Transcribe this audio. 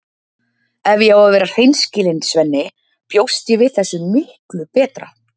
Ef ég á að vera hreinskilin, Svenni, bjóst ég við þessu miklu betra.